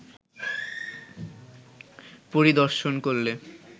পরিদর্শন করলে